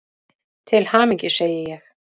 Til hamingju, segi ég.